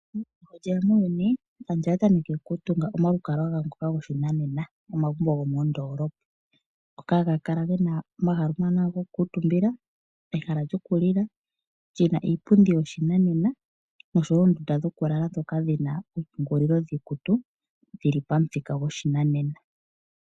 Eputuko sho lye ya muuyuni, aantu oya tameke okutunga omalukalwa gawo ngoka goshinanena, ano omagumbo gomoondoolopa ngoka ga kala ge na omahala omawanawa gokukuutumba noshowo gokulila, ge na iipundi yoshinanena noshowo oondunda dhokulala ndhoka hadhi kala dhi na oompungulilo dhiikutu dhi li pamuthika goshinanena.